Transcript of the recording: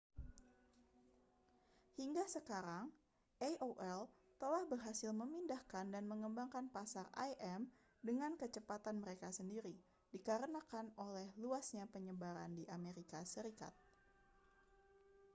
hingga sekarang aol telah berhasil memindahkan dan mengembangkan pasar im dengan kecepatan mereka sendiri dikarenakan oleh luasnya penyebaran di amerika serikat